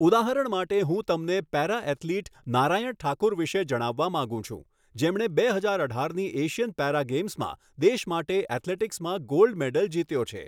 ઉદાહરણ માટે હું તમને પેરા ઍથ્લીટ નારાયણ ઠાકુર વિશે જણાવવા માગું છું જેમણે બે હજાર અઢારની એશિયન પેરા ગેમ્સમાં દેશ માટે એથ્લેટિક્સમાં ગોલ્ડ મેડલ જીત્યો છે.